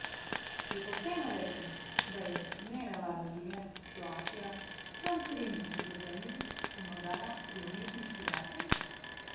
Je pošteno reči, da je nenavadna življenjska situacija vsem trem vpletenim pomagala pri umetniški rasti?